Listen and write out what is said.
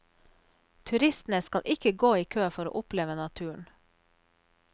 Turistene skal ikke gå i kø for å oppleve naturen.